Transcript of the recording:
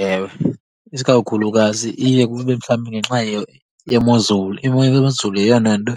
Ewe, isikakhulukazi iye kube mhlawumbi ngenxa yemozulu. Imo yezulu yeyona nto